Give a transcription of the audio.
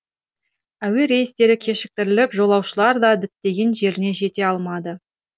әуе рейстері кешіктіріліп жолаушылар да діттеген жеріне жете алмады